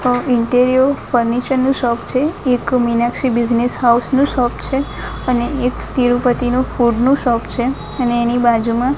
અ interior furniture નું shop છે એક મીનાક્ષી બિઝનેસ હાઉસ નું શોપ છે અને એક તિરુપતિ નું ફૂડ નું શોપ છે અને એની બાજુમાં --